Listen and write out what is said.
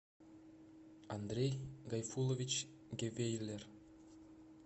андрей гайфулович гевейлер